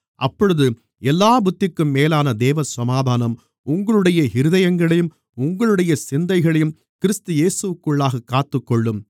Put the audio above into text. அப்பொழுது எல்லாப் புத்திக்கும் மேலான தேவசமாதானம் உங்களுடைய இருதயங்களையும் உங்களுடைய சிந்தைகளையும் கிறிஸ்து இயேசுவிற்குள்ளாகக் காத்துக்கொள்ளும்